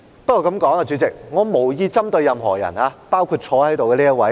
不過，主席，我這樣說無意針對任何人，包括坐在這裏的這一位。